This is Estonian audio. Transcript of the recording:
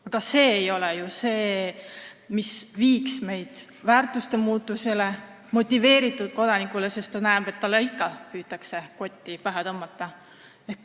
Aga see ei ole ju see, mis viiks meid väärtuste muutumisele, mis tekitaks motiveeritud kodaniku, sest kodanik näeb, et talle püütakse ikka kotti pähe tõmmata.